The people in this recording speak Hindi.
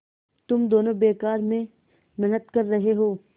तुम दोनों बेकार में मेहनत कर रहे हो